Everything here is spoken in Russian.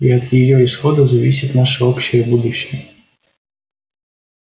и от её исхода зависит наше общее будущее